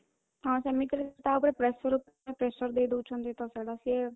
ହଁ, ସେମିତି କଲେ ତା ଉପରେ pressure pressure ଦେଇଦେଉଛନ୍ତି ତ ସେଇଟା ସିଏ